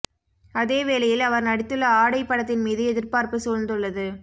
அதே வேளையில் அவர் நடித்துள்ள ஆடை படத்தின் மீது எதிர்பார்ப்பு சூழ்ந்துள்ளது